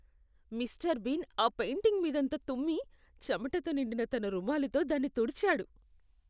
Mister bean ఆ painting మీదంతా తుమ్మి, చెమటతో నిండిన తన రుమాలుతో దాన్ని తుడిచాడు.